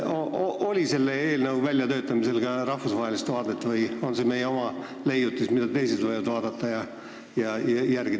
Oli selle eelnõu väljatöötamisel ka rahvusvahelist vaadet või on see meie oma leiutis, mida teised võivad järele teha?